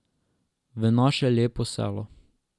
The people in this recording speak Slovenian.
V naše lepo selo.